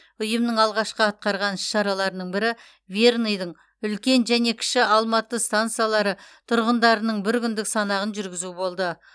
ұйымның алғашқы атқарған іс шараларының бірі верныйдың үлкен және кіші алматы стансалары тұрғындарының бір күндік санағын жүргізу болды